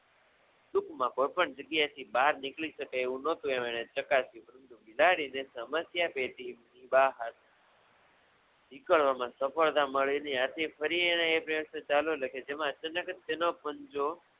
ટૂંકમા કોઈપણ જગ્યાએથી બહાર નિકળીશકાય એવું નહોતું એમ એણે ચકાસ્યું સ્મધ્યા પેઢી બહાર નીકળવામા સફળતા મળે એની આથી ફરી એણે એ પ્રયાસે ચાલવા લાગી તેમા અચાનક જ તેનો પંજો